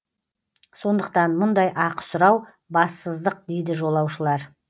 сондықтан мұндай ақы сұрау бассыздық дейді жолаушылар